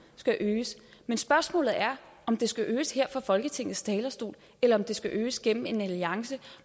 skal øges men spørgsmålet er om det skal øges her fra folketingets talerstol eller om det skal øges gennem en alliance